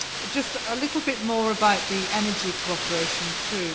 Just a little bit more about energy cooperation too.